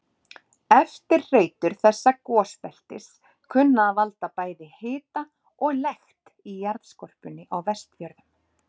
Eftirhreytur þessa gosbeltis kunna að valda bæði hita og lekt í jarðskorpunni á Vestfjörðum.